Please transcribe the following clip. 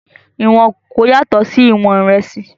Ìwọ̀n kòkó yàtọ̀ sí ìwọ̀n ìrẹsì